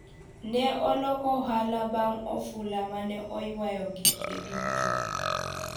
ne oloko ohala bang' ofula mane oywayo gike duto